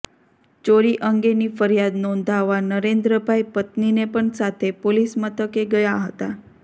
ચોરી અંગેની ફરિયાદ નોંધાવવા નરેન્દ્રભાઇ પત્નીને પણ સાથે પોલીસ મથકે ગયા હતા